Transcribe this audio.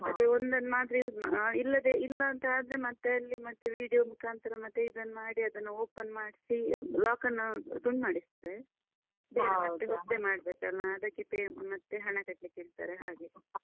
ಅದೆ ಒಂದನ್ ಮಾತ್ರ use ಮಾ~ ಇಲ್ಲದೇ ಇಲ್ಲಾಂತಾದ್ರೆ ಮತ್ತೆ ಅಲ್ಲಿ ಮತ್ತೆ video ಮುಖಾಂತರ ಮತ್ತೆ ಇದನ್ನು ಮಾಡಿ ಅದನ್ನು open ಮಾಡ್ಸಿ lock ಅನ್ನ ತುಂಡ್ ಮಾಡಿಸ್ತಾರೆ. ಮತ್ತೆ ಹೊಸ್ತೇ ಮಾಡ್ಬೇಕಲ್ಲ ಅದಕ್ಕೆ pay ಮತ್ತೆ ಹಣ ಕಟ್ಳಿಕ್ ಹೇಳ್ತಾರೆ ಹಾಗೆ.